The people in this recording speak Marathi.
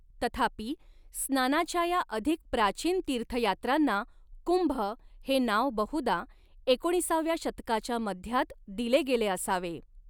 तथापि, स्नानाच्या या अधिक प्राचीन तीर्थयात्रांना कुंभ हे नाव बहुधा एकोणीसाव्या शतकाच्या मध्यात दिले गेले असावे.